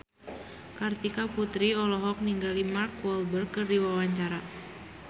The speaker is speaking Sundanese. Kartika Putri olohok ningali Mark Walberg keur diwawancara